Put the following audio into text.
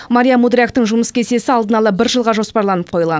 мария мудряктың жұмыс кестесі алдын ала бір жылға жоспарланып қойылған